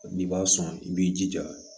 N'i b'a sɔn i b'i jija